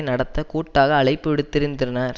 நடத்த கூட்டாக அழைப்பு விடுத்திருந்தனர்